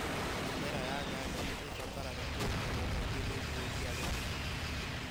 Mĩmera ya nyanya nĩ ĩbataraga kũrĩmĩrwo kaingĩ nĩguo ria rĩrutwo